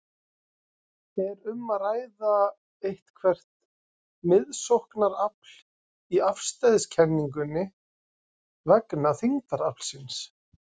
Er um að ræða eitthvert miðsóknarafl í afstæðiskenningunni vegna þyngdaraflsins?